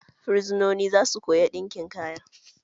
Fursononin zasu koya ɗinkin kaya.